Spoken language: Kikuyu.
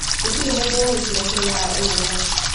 Gũtirĩ mũndũ ũĩ kĩrĩa kĩrehaga ALS.